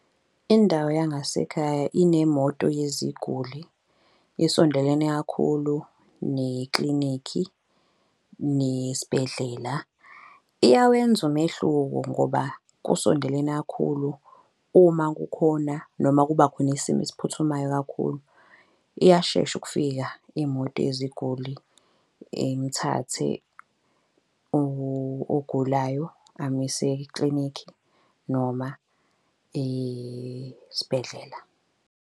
Indawo yangasekhaya inemoto yeziguli, isondelene kakhulu neklinikhi nesibhedlela. Iyawenza umehluko ngoba kusondelene kakhulu uma kukhona noma kuba khona isimo esiphuthumayo kakhulu. Iyashesha ukufika imoto yeziguli imthathe ogulayo amuyise eklinikhi noma esibhedlela.